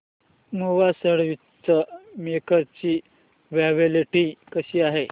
Nova sandwich maker ची quality कशी आहे